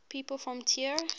people from trier